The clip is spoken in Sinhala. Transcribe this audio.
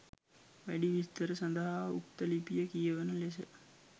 වැඩි විස්තර සදහා උක්ත ලිපිය කියවන ලෙස